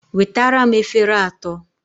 Wetara m efere atọ!